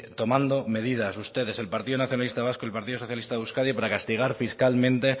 tomando medidas ustedes el partido nacionalista vasco y el partido socialista de euskadi para castigar fiscalmente